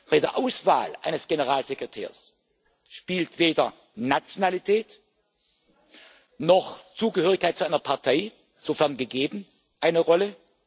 Bei der Auswahl eines Generalsekretärs spielen weder Nationalität noch Zugehörigkeit zu einer Partei sofern gegeben eine Rolle.